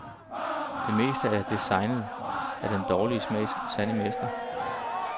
Det meste af det er designet af den dårlige smags sande mestre.